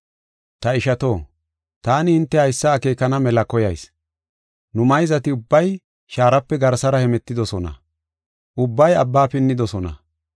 Ta ishato, taani hinte haysa akeekana mela koyayis. Nu mayzati ubbay shaarape garsara hemetidosona; ubbay abba pinnidosona.